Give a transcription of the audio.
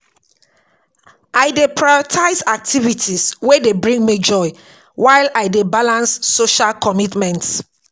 I dey prioritize activities wey dey bring me joy while I dey balance social commitments.